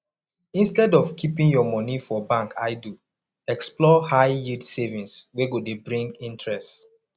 instead of keeping your money for bank idle explore high yield savings wey go dey bring interest